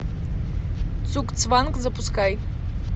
цугцванг запускай